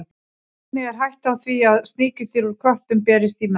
Einnig er hætta á því að sníkjudýr úr köttum berist í menn.